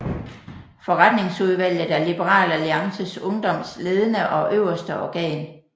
Forretningsudvalget er Liberal Alliances Ungdoms ledende og øverste organ